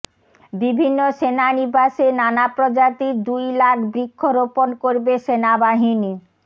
বিভিন্ন সেনানিবাসে নানা প্রজাতির দুই লাখ বৃক্ষ রোপণ করবে সেনাবাহিনী